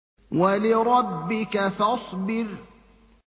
وَلِرَبِّكَ فَاصْبِرْ